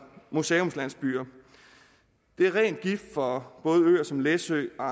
museumslandsbyer det er ren gift for både øer som læsø og